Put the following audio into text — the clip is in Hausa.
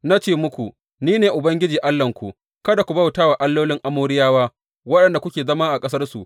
Na ce muku, Ni ne Ubangiji Allahnku; kada ku bauta allolin Amoriyawa, waɗanda kuke zama a ƙasarsu.’